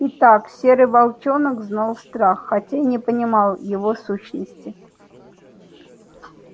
итак серый волчонок знал страх хотя и не понимал его сущности